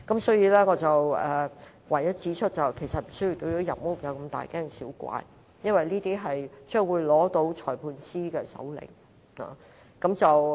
所以，我只想指出其實無須對入屋如此大驚小怪，因為這做法要在取得裁判官的手令才可以。